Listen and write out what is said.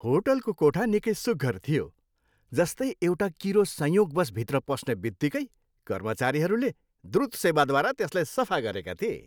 होटलको कोठा निकै सुघ्घर थियो, जस्तै एउटा किरो संयोगवश भित्र पस्ने बित्तिकै कर्मचारीहरूले द्रुत सेवाद्वारा त्यसलाई सफा गरेका थिए।